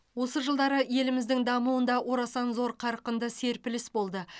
осы жылдары еліміздің дамуында орасан зор қарқынды серпіліс болды